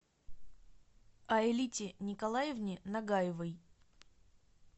аэлите николаевне нагаевой